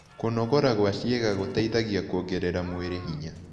Kũnogora gwa cĩĩega gũteĩthagĩa kũongerera mwĩrĩ hinya